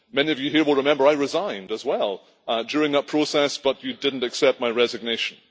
Many of you here will remember I resigned as well during that process but you did not accept my resignation.